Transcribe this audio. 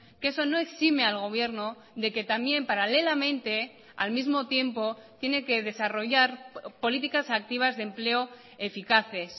que eso no exime al gobierno de que también paralelamente al mismo tiempo tiene que desarrollar políticas activas de empleo eficaces